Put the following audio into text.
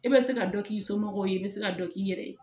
E bɛ se ka dɔ k'i somɔgɔw ye i bɛ se ka dɔ k'i yɛrɛ ye